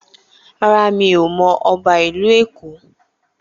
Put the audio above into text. Rárá, mi ò mọ ọba ìlú Èkó